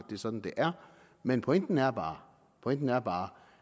det er sådan det er men pointen er pointen er bare